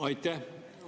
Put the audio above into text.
Aitäh!